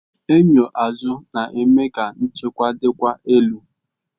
Enyo azụ na-eme ka nchekwa dịkwa elu